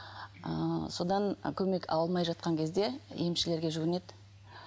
ыыы содан көмек ала алмай жатқан кезде емшілерге жүгінеді